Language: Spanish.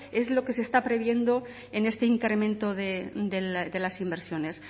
es lo que se está previendo en este incremento de las inversiones